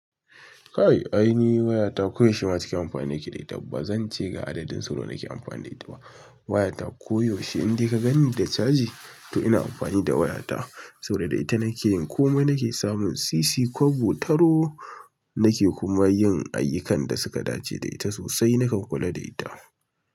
Kai aini wayata koyaushe ma cikin amfani nake da ita. Ba zance ga adadin sau nawa nake amfani da ita ba. Wayata koyaushe in dai ka ganni da caji to ina amfani da wayata. Saboda da ita nake yin komai. Nake samun sisi, kwabo, taro. Nake kuma yin ayyukan da suka dace da ita sosai. Na kan kula da ita.